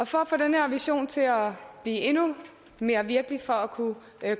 for at få den her vision til at blive endnu mere virkelig og for at kunne